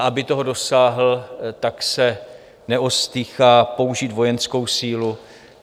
A aby toho dosáhl, tak se neostýchá použít vojenskou sílu.